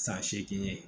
San seegin ye